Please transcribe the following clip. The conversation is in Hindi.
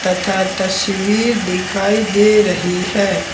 तथा तस्वीर दिखाई दे रही है।